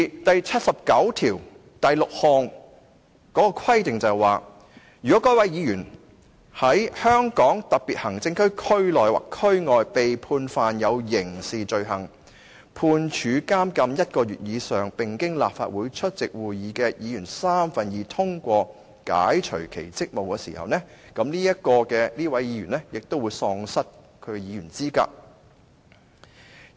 第七十九條第六項的規定指，如果該位議員"在香港特別行政區區內或區外被判犯有刑事罪行，判處監禁一個月以上，並經立法會出席會議的議員三分之二通過解除其職務"時，這位議員也會喪失其議員資格。